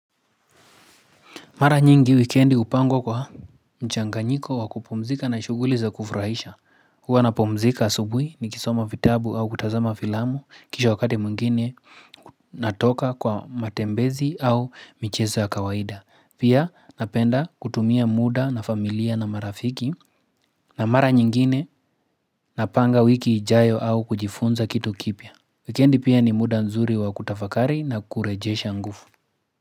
Mara nyingi wikendi upangwa kwa mchanganyiko wa kupumzika na shuguli za kufuraisha. Huwa napumzika asubuhi nikisoma vitabu au kutazama filamu kisha wakati mwingine natoka kwa matembezi au mchezo ya kawaida. Pia napenda kutumia muda na familia na marafiki na mara nyingine napanga wiki ijayo au kujifunza kitu kipya. Wikendi pia ni muda nzuri wa kutafakari na kurejesha ngufu.